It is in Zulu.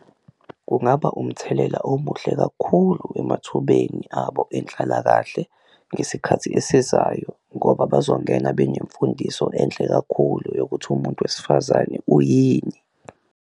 Kungaba umthelela omuhle kakhulu emathubeni abo enhlalakahle ngesikhathi esizayo ngoba bazongena benemfundiso enhle kakhulu yokuthi umuntu wesifazane uyini.